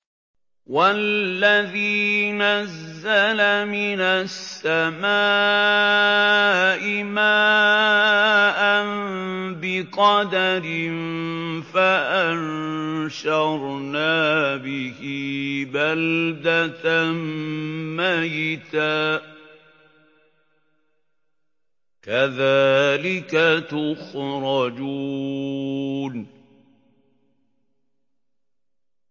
وَالَّذِي نَزَّلَ مِنَ السَّمَاءِ مَاءً بِقَدَرٍ فَأَنشَرْنَا بِهِ بَلْدَةً مَّيْتًا ۚ كَذَٰلِكَ تُخْرَجُونَ